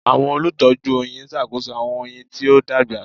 Awọn olutọju oyin ṣakoso awọn oyin ti o dagba